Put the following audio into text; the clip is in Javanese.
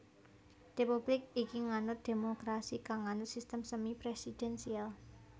Republik iki nganut dhémokrasi kang nganut sistem semi presidensial